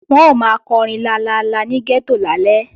Wọ́n ó máa kọrin lalala ní gẹ́tò lálẹ́